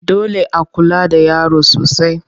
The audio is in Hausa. Dole a kula da yaro sosai.